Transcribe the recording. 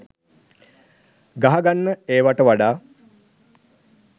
ගහගන්න ඒවට වඩා